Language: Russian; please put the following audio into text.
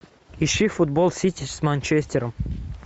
ищи футбол сити с манчестером